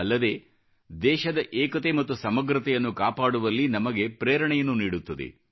ಅಲ್ಲದೆ ದೇಶದ ಏಕತೆ ಮತ್ತು ಸಮಗ್ರತೆಯನ್ನು ಕಾಪಾಡುವಲ್ಲಿ ನಮಗೆ ಪ್ರೇರಣೆಯನ್ನು ನೀಡುತ್ತದೆ